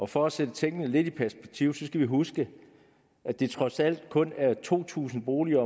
for at sætte tingene lidt i perspektiv skal vi huske at det trods alt kun er to tusind boliger